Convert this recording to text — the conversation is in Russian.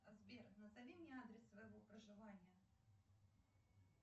сбер назови мне адрес своего проживания